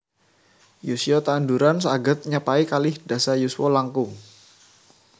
Yuswa tanduran saghed nyapai kalih dasa yuswa langkung